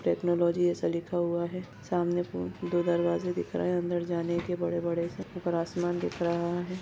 Technology ऐसा लिखा हुआ है सामने पे दो दरवाजे दिख रहे है अंदर जाने के बड़े-बड़े से ऊपर आसमान दिख रहा है।